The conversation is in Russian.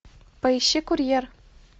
поищи курьер